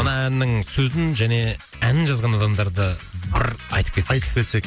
мына әннің сөзін және әнін жазған адамдарды ыр айтып кетсек айтып кетсек